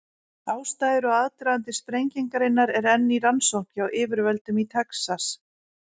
Ástæður og aðdragandi sprengingarinnar er enn í rannsókn hjá yfirvöldum í Texas.